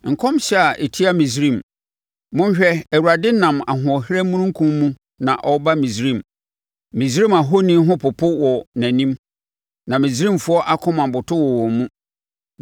Nkɔmhyɛ a ɛtia Misraim: Monhwɛ! Awurade nam ahoɔherɛ omununkum mu na ɔreba Misraim. Misraim ahoni ho popo wɔ nʼanim, na Misraimfoɔ akoma boto wɔ wɔn mu.